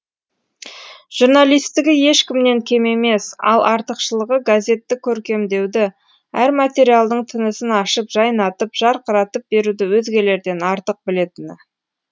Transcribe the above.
журналистігі ешкімнен кем емес ал артықшылығы газетті көркемдеуді әр материалдың тынысын ашып жайнатып жарқыратып беруді өзгелерден артық білетіні